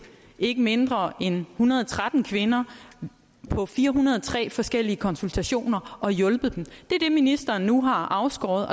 ikke mindre end en hundrede og tretten kvinder på fire hundrede og tre forskellige konsultationer og hjulpet dem det er det ministeren nu har afskåret